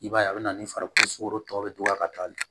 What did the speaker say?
I b'a ye a bɛ na ni farikolo tɔw bɛ dɔgɔya ka taa